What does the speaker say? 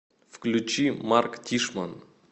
включи марк тишман